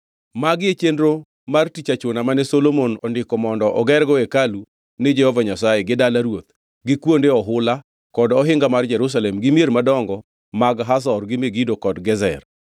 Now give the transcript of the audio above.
Magi e chenro mar tich achuna mane Ruoth Solomon ondiko mondo ogergo hekalu ni Jehova Nyasaye, gi dala ruoth, gi kuonde ohula, kod ohinga mar Jerusalem, gi mier madongo mag Hazor gi Megido kod Gezer.